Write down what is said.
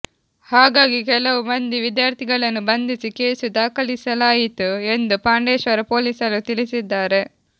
ಹಾಗಾಗಿ ಕೆಲವು ಮಂದಿ ವಿದ್ಯಾರ್ಥಿಗಳನ್ನು ಬಂಧಿಸಿ ಕೇಸು ದಾಖಲಿಸಲಾಯಿತು ಎಂದು ಪಾಂಡೇಶ್ವರ ಪೊಲೀಸರು ತಿಳಿಸಿದ್ದಾರೆ